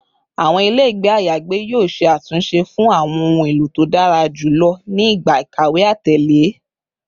Awọn ile ayagbe yoo ṣe atunṣe fun awọn ohun elo to dara julọ ni igba ikawe atẹle